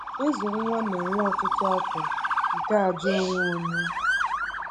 Ịzụ nwa na-ewe ọtụtụ afọ nke àjà onwe onye.